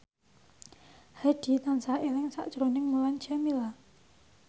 Hadi tansah eling sakjroning Mulan Jameela